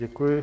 Děkuji.